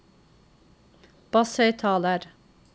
basshøyttaler